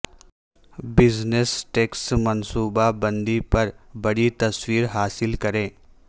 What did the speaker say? business tax منصوبہ بندی پر بڑی تصویر حاصل کریں